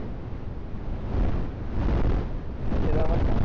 কিসের ব্যাপারটা